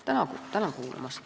Tänan kuulamast!